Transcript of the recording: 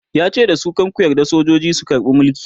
yace dasu "kar ku yarda sojoji su karbe Mulki!"